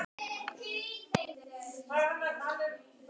Innri gerð jarðar